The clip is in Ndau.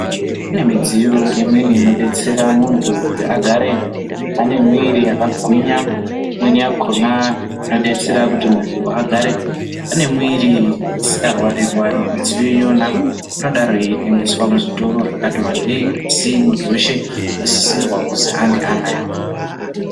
Pane midziyo imweni inobetsera muntu kuti agare ane mwiri yakagwinya. Imweni yakona inobetsera kuti muntu agare ane mviri isikarwari-rwari, midziyo iyo inodaro yeitengeswa muzvitoro zvakati vandei. Asi muntu veshe anosisirwa kuzi ange anayo.